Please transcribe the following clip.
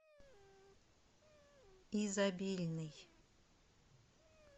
изобильный